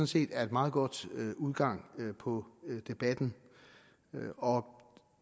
set er en meget god udgang på debatten